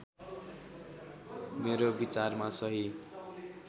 मेरो विचारमा सहि